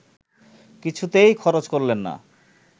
কিছুতেই খরচ করলেন না